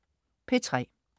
P3: